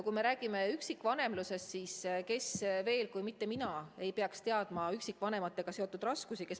Kui me räägime üksikvanemlusest, siis kes veel kui mitte mina ei peaks teadma üksikvanemate raskusi.